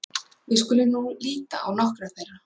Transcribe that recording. Við skulum nú líta á nokkrar þeirra.